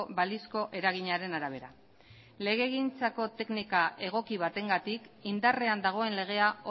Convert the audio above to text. balizko eraginaren arabera legegintzako teknika egoki batengatik indarrean dagoen legea